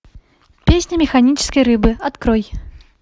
песня механической рыбы открой